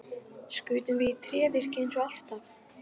Skutum við í tréverkið eins og alltaf?